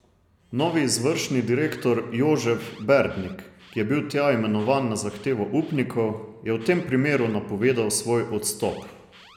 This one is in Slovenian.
Novi izvršni direktor Jožef Berdnik, ki je bil tja imenovan na zahtevo upnikov, je v tem primeru napovedal svoj odstop.